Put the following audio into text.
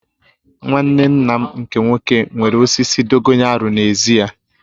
Nwanne nna m nke nwoke nwere osisi dogoyaru n'ezi ya